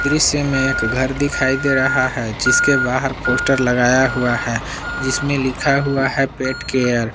दृश्य में एक घर दिखाई दे रहा है जिसके बाहर पोस्टर लगाया हुआ है जिसमें लिखा हुआ है पेट केयर ।